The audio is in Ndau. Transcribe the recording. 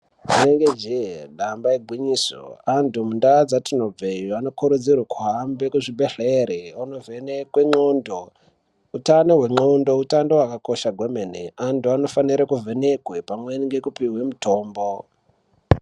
Rinenge jee damba igwinyiso antu mundaa dzatinobveyo anokurudzirwe kuhamba kuzvibhedhlere kunovhenekwe ndxondo. Utano hwendxondo utano hwakakosha hwemene antu anofanire kuvhenekwe pamweni nekupihwe mutombo.